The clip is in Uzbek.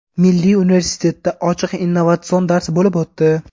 Milliy universitetda ochiq innovatsion dars bo‘lib o‘tdi.